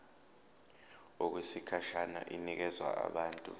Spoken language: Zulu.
okwesikhashana inikezwa abantu